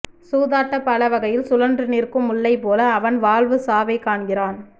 சூதாட்டப்பலகையில் சுழன்று நிற்கும் முள்ளை போல அவன் வாழ்வு சாவை காண்கிறான்